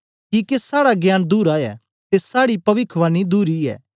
किके साड़ा ज्ञान धुरा ऐ ते साड़ी पविखवाणी धुरी ऐ